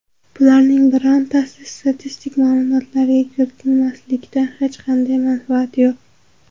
Bularning birortasini statistik ma’lumotlarga kiritmaslikdan hech qanday manfaat yo‘q.